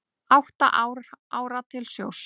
Átta ára til sjós